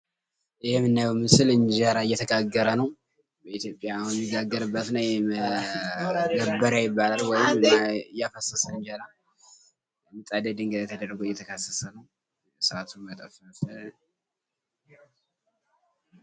ይህ የምናየው ምስል እንጀራ እየተጋገረ ነው ።በኢትዮጽያ የሚጋገርበትና መገበሪያ ይባላል። ወይም እያፈሰስን እንጀራ ።ድንጋይ ላይ ምጣድ ተደርጎ እየተፈሰሰ ነው ።እሳቱ የጠፋ ይመስላል።